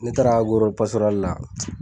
Ne taara la